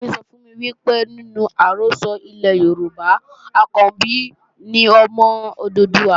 Bàbá-àgbà mi sọ fún mi pé nínú àrọ́sọ ilẹ̀ Yorùbá, Ọ̀kànbí ni ọmọ Odùduwà